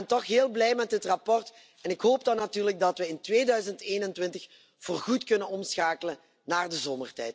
Maar ik ben toch heel blij met dit verslag en ik hoop dan natuurlijk dat we in 2021 voorgoed kunnen omschakelen naar de zomertijd.